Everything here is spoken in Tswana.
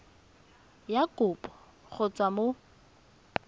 ya kopo go tswa mo